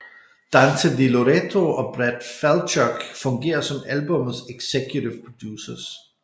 Dante Di Loreto og Brad Falchuk fungere som albummets executive producers